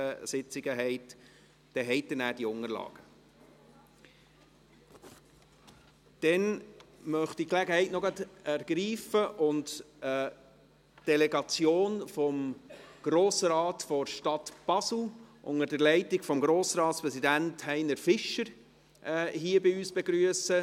Dann möchte ich gerade noch die Gelegenheit ergreifen und die Delegation vom Grossen Rat der Stadt Basel unter der Leitung des Grossratspräsidenten Heiner Fischer hier bei uns zu begrüssen.